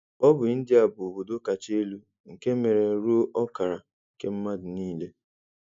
Ọ bụ India bụ́ obodo kacha elu, nke mere ruo ọkara nke mmadụ niile.